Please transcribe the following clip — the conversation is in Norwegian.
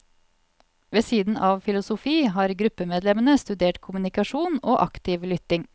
Ved siden av filosofi, har gruppemedlemmene studert kommunikasjon og aktiv lytting.